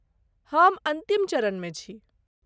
हम अन्तिम चरणमे छी।